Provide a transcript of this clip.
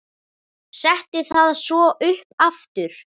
Setti það svo upp aftur.